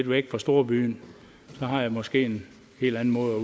væk fra storbyen har jeg måske en helt anden måde